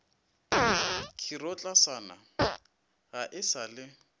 khirotlasana ga e sa le